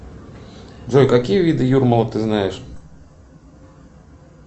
джой какие виды юрмалы ты знаешь